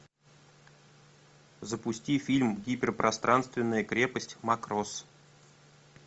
запусти фильм гиперпространственная крепость макрос